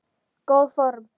Góð fórn.